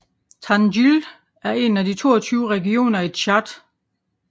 Tandjilé er en af de 22 regioner i Tchad